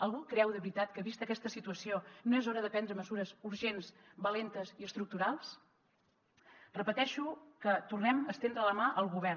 algú creu de veritat que vista aquesta situació no és hora de prendre mesures urgents valentes i estructurals repeteixo que tornem a estendre la mà al govern